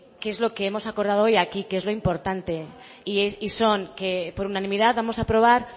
qué es lo que hemos acordado hoy aquí que es lo importante y son que por unanimidad vamos a aprobar